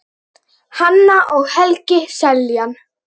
Hanna og Helgi Seljan.